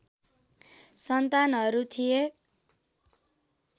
सन्तानहरू थिए